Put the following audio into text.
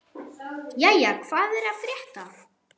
Jæja, hvað er að frétta?